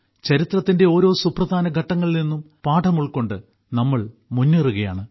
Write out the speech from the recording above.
ചരിത്രത്തിന്റെ ഓരോ സുപ്രധാന ഘട്ടങ്ങളിൽ നിന്നും പാഠം ഉൾക്കൊണ്ട് നമ്മൾ മുന്നേറുകയാണ്